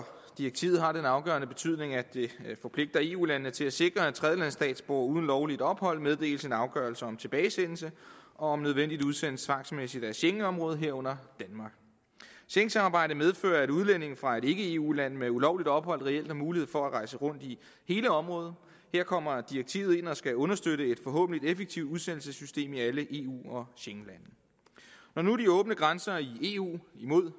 direktivet har den afgørende betydning at de forpligter eu landene til at sikre at tredjelandsstatsborgere uden lovligt ophold meddeles en afgørelse om tilbagesendelse og om nødvendigt udsendes tvangsmæssigt af schengenområdet herunder danmark schengensamarbejdet medfører at udlændinge fra et ikke eu land med ulovligt ophold reelt har mulighed for at rejse rundt i hele området her kommer direktivet ind og skal understøtte et forhåbentlig effektivt udsendelsessystem i alle eu og schengenlande når nu de åbne grænser i eu imod